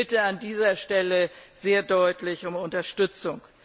Ich bitte an dieser Stelle sehr deutlich um Unterstützung.